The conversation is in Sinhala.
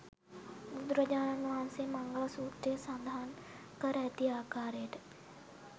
බුදුරජාණන් වහන්සේ මංගල සූත්‍රයේ සඳහන් කර ඇති ආකාරයට